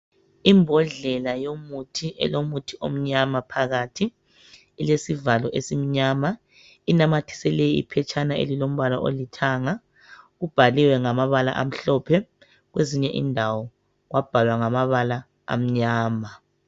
Imbodlela yomuthi elomuthi omnyama phakathi, ilesivalo esimnyama, inamathiselwe iphetshana elilombala olithanga, kubhaliwe ngamabala amhlophe, kwezinye indawo kwabhalwa ngamabala amnyama.